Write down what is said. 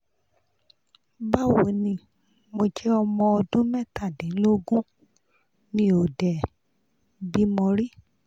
bawo ni mo je omo odun metadinlogun mi o de bimo ri